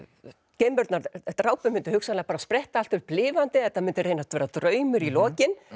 geimverurnar drápu myndu hugsanlega spretta allt upp lifandi þetta myndi reynast vera draumur í lokin